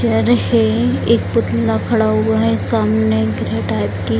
है एक पुतला खड़ा हुआ है सामने टाइप की --